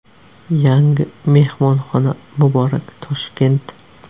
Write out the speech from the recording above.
Yangi mehmonxona muborak, Toshkent!